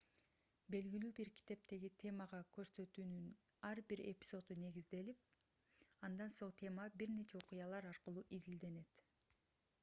белгилүү бир китептеги темага көрсөтүүнүн ар бир эпизоду негизделип андан соң тема бир нече окуялар аркылуу изилденет